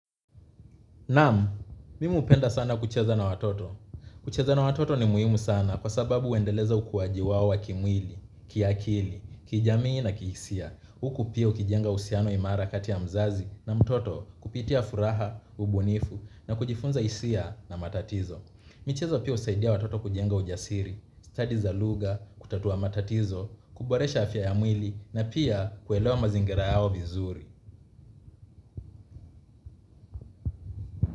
Naam, mimu hupenda sana kucheza na watoto. Kucheza na watoto ni muhimu sana kwa sababu huendeleza ukuaji wao wa kimwili, kiakili, kijamii na kihisia. Huku pia ukijenga uhusiano imara kati ya mzazi na mtoto kupitia furaha, ubunifu na kujifunza hisia na matatizo. Michezo pia husaidia watoto kujenga ujasiri, stadi za lugha, kutatua matatizo, kuboresha afya ya mwili na pia kuelewa mazingira yao vizuri.